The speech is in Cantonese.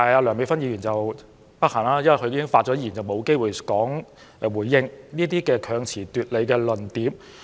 梁美芬議員不幸已發言完畢，因此沒有機會回應這些強詞奪理的論點。